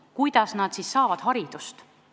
Aga kuidas nad saavad haridust?